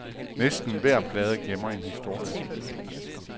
Næsten hver plade gemmer en historie.